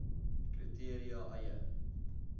kri teria eie